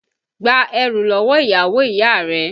Gba ẹrú lọ́wọ́ ìyàwó ìyá rẹ!